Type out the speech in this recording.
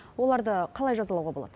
оларды қалай жазалауға болады